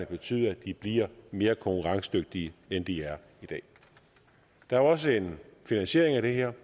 betyder at de bliver mere konkurrencedygtige end de er i dag der er også en finansiering af det her